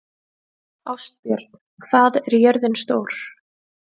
Ástbjörn, hvað er jörðin stór?